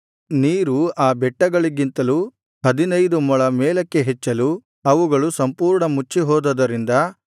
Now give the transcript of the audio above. ನೀರು ಆ ಬೆಟ್ಟಗಳಿಂತಲೂ ಹದಿನೈದು ಮೊಳ ಮೇಲಕ್ಕೆ ಹೆಚ್ಚಲು ಅವುಗಳು ಸಂಪೂರ್ಣ ಮುಚ್ಚಿಹೋದುದರಿಂದ